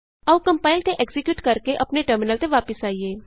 ਆਉ ਕੰਪਾਇਲ ਤੇ ਐਕਜ਼ੀਕਿਯੂਟ ਕਰਕੇ ਆਪਣੇ ਟਰਮਿਨਲ ਤੇ ਵਾਪਸ ਆਈਏ